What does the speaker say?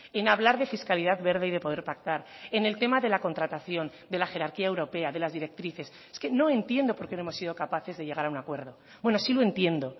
en hablar de fiscalidad verde y de poder pactar en el tema de la contratación de la jerarquía europea de las directrices es que no entiendo por qué no hemos sido capaces de llegar a un acuerdo bueno sí lo entiendo